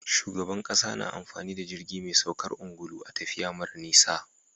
Shugaban ƙasa na amfani da jirgi me saukar angulu a tafiya mara nisa